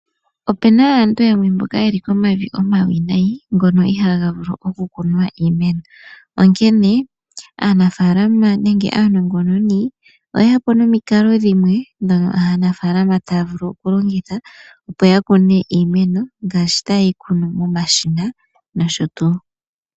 Opena aantu yamwe mboka yeli komavi omawinayi ngono ihaga vulu oku kunwa iimeno. Onkene aanafalama nenge aanongononi oyeyapo nomikalo dhimwe dhono aanafalama taya vulu oku longitha opo ya kune iimeno, ngashi ta yeyi kunu momashina nosho tuu.